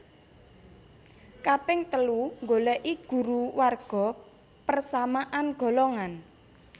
Kaping telu nggoleki guru warga persamaan golongan